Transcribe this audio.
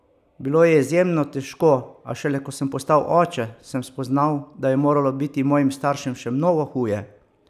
Bilo je izjemno težko, a šele, ko sem postal oče, sem spoznal, da je moralo biti mojim staršem še mnogo huje!